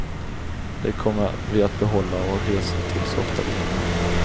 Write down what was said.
Det kommer vi att behålla och resa till så ofta vi hinner.